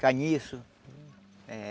Caniço. Eh